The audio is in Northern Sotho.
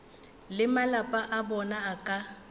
le malapa a bona ka